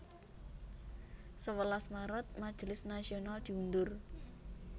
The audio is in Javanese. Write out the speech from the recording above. Sewelas Maret Majelis Nasional diundur